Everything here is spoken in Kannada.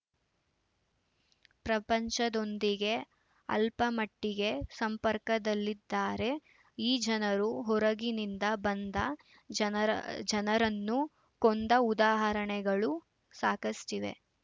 ಪ್ರಪಂಚದೊಂದಿಗೆ ಅಲ್ಪಮಟ್ಟಿಗೆ ಸಂಪರ್ಕದಲ್ಲಿದ್ದಾರೆ ಈ ಜನರು ಹೊರಗಿನಿಂದ ಬಂದ ಜನರ ಜನರನ್ನು ಕೊಂದ ಉದಾಹರಣೆಗಳು ಸಾಕಷ್ಟಿವೆ